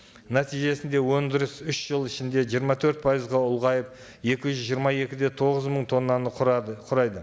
нәтижесінде өндіріс үш жыл ішінде жиырма төрт пайызға ұлғайып екі жүз жиырма екі де тоғыз мың тоннаны құрады құрайды